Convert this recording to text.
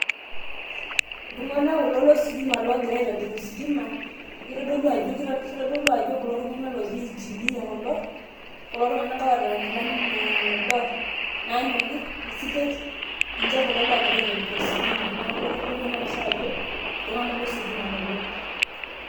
iltung'anak kulo lositima loogira aitobir ositima. kitodolu ajo kulo tunganak ooji engineer kulo. kulo tunganak oota nkilanai naado, nanyori isitet, niche kulo loogira aitobir ositima, neeku kitodolu ena pisha ajo iltunganak lositima kulo.